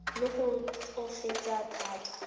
le gore o tsofetse thata